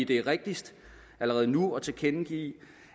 det rigtigst allerede nu at tilkendegive